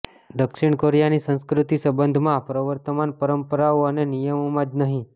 દક્ષિણ કોરિયાની સંસ્કૃતિ સંબંધમાં પ્રવર્તમાન પરંપરાઓ અને નિયમોમાં જ નહીં